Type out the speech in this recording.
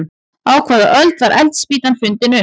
Á hvaða öld var eldspýtan fundin upp?